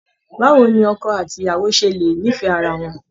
Báwo ni ọkọ àti ìyàwó ṣe lè nífẹ̀ẹ́ ara wọn!